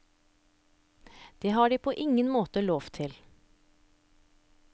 Det har de på ingen måte lov til.